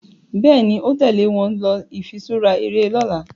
Béèni o tèlé wón ló ifiṣura eré lỌ̀la